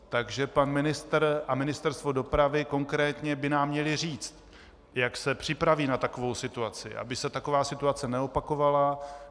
Takže pan ministr a Ministerstvo dopravy konkrétně by nám měli říct, jak se připraví na takovou situaci, aby se taková situace neopakovala.